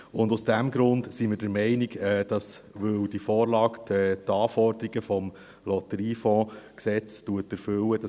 Und aus diesem Grund sind wir der Meinung, dass wir das unterstützen sollten, weil die Vorlage die Anforderungen des Lotteriegesetzes (LotG) erfüllt.